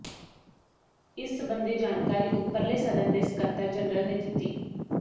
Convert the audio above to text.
ਇਸ ਸਬੰਧੀ ਜਾਣਕਾਰੀ ਉੱਪਰਲੇ ਸਦਨ ਦੇ ਸਕੱਤਰ ਜਨਰਲ ਨੇ ਦਿੱਤੀ